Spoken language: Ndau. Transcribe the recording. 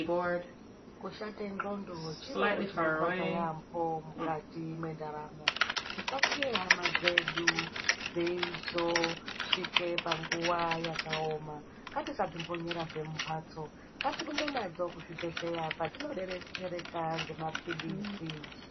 Kushate ndxondo chiro chinorwadze yaambo mukati mwendaramo. Tisasiye hama dzedu dzeizosvike panguva yakaoma. Ngatisadzimbonyerazve mumhatso ngatirumbe nadzo kuzvibhedhleya kwadzinobetsereka ngemaphirizi.